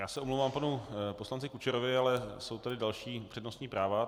Já se omlouvám panu poslanci Kučerovi, ale jsou tady další přednostní práva.